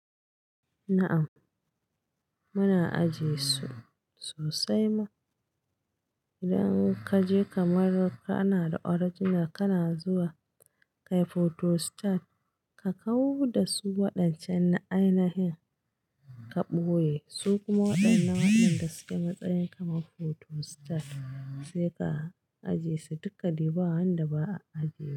Na'am, muna ajiye su sosai ma. Idan ka je kamar kana da original kana zuwa ka yi photostat, ka kawo da su waɗancan ainahin ka ɓoye su kuma waɗannan waɗanda suke matsayin kaman photostat sai ka ajiye su. Dukka dai ba wanda ba a ajiye.